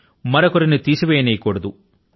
మరొకరి ని తీసివేయనీయ కూడదు